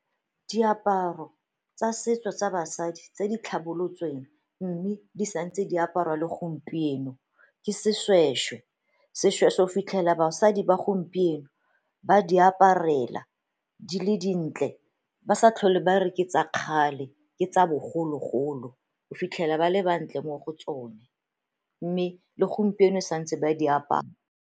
Diaparo tsa setso tsa basadi tse di tlhabolotsweng mme di sa ntse diaparwa le gompieno ke seshweshwe. Seshweshwe o fitlhela basadi ba gompieno ba di aparela di le dintle, ba sa tlhole ba re ke tsa kgale, ke tsa bogologolo o fitlhela ba le ba ntle mo go tsone mme le gompieno sa ntse ba di apara.